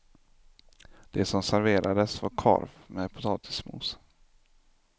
Det som serverades var korv med potatismos.